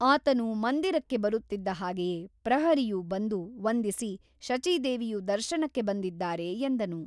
ಆತನು ಮಂದಿರಕ್ಕೆ ಬರುತ್ತಿದ್ದ ಹಾಗೆಯೇ ಪ್ರಹರಿಯು ಬಂದು ವಂದಿಸಿ ಶಚೀದೇವಿಯು ದರ್ಶನಕ್ಕೆ ಬಂದಿದ್ದಾರೆ ಎಂದನು.